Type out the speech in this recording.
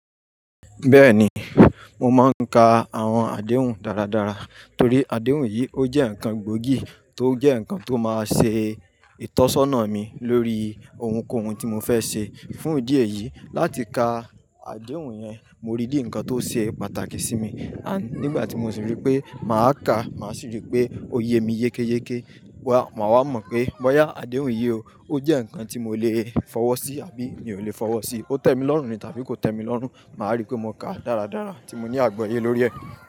Bẹ́ẹ̀ni, mo máa ń ka àwọn àdéhùn dáradára torí àdéhùn yìí ó jẹ́ ǹkan gbógiì tó jẹ́ ǹkan tó máa ṣe ìtọ́sọ́nà mi lórí ohunkóhun tí mo fẹ́ ṣe. Fún ìdí èyí, láti ka àdéhùn yẹn, mo rí i bí ǹkan tó ṣe pàtàkì sí mi. Àní nígbà tí mo sì rí pé màá kàá, màá sì rí i pé ó yemi yékéyéké, wa, màá wá mọ̀ pé bóyá àdéhùn yìí ó jẹ́ ǹkan tí mo lè fọwọ́ sí àbí mi ò lè fọwọ́ sí. Ó tẹ́ mi lọ́rùn ni tàbí kò tẹ́ mi lọ́rùn, màá rí i pé mo kàá dáradára tí mo ní àgbọ́ye lórí ẹ̀